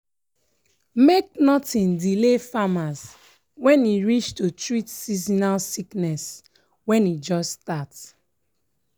make nothing delay farmers when e reach to treat seasonal sickness when e just start.